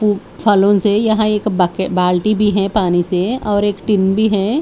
एक फालुन से यहाँ एक बक-बाल्टी दी है पानी से और एक टिंडी है--